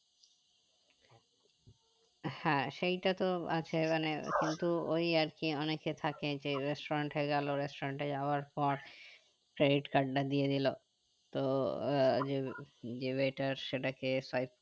হ্যাঁ সেইটা তো আছে মানে কিন্তু ওই আরকি অনেকে থাকে restaurant এ গেলো restaurant এ যাওয়ার পর credit card টা দিয়ে দিলো তো আহ সেটাকে five